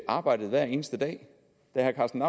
arbejdet hver eneste dag da herre karsten